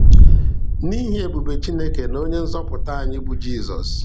N'ihi ebube Chineke na onye nzọpụta anyị bụ Jizọs.